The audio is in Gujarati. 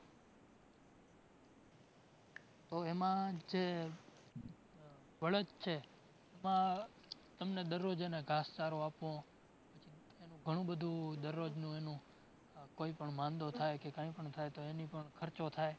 તો એમાં જે બળદ છે, એમાં તમને દરરોજ એને ઘાસચારો આપવો, એનું ઘણું બધું દરરોજનું એનું કોઈ પણ માંદો થાય કે કઈ થાય તો એની પાર ખર્ચો થાય.